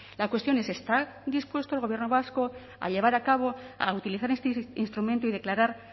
la cuestión es está dispuesto el gobierno vasco a llevar a cabo a utilizar este instrumento y declarar